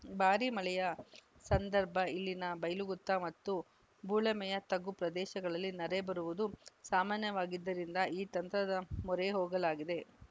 ಭಾರೀ ಮಳೆಯ ಸಂದರ್ಭ ಇಲ್ಲಿನ ಬೈಲಗುತ್ತ ಹಾಗೂ ಬೊಳಮೆಯ ತಗ್ಗು ಪ್ರದೇಶಗಳಲ್ಲಿ ನೆರೆ ಬರುವುದು ಸಾಮಾನ್ಯವಾಗಿದ್ದರಿಂದ ಈ ತಂತ್ರದ ಮೊರೆ ಹೋಗಲಾಗಿದೆ